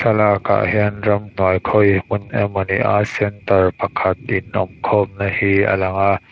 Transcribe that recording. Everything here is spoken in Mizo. thlalak ah hian ram pai khawi hmun emaw ni a center pakhat in awm kawm na hi a lang a.